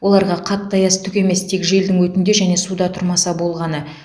оларға қатты аяз түк емес тек желдің өтінде және суда тұрмаса болғаны